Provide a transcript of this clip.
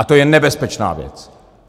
A to je nebezpečná věc.